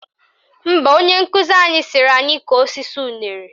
Mba, onye nkụzi anyị sịrị anyị kọọ osisi unere